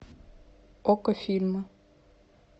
окко фильмы